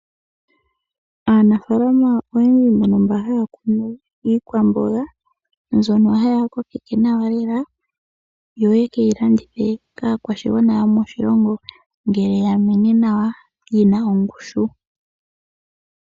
Aanafaalama oyendji mbono mba haya kunu iikwamboga, mbyono haya kokeke nawa lela yo yeke yi landithe kaa kwashigwana yomoshilongo. Ngele ya mene nawa yina ongushu